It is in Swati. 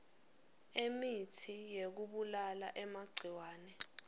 emitsi yekubulala emagciwane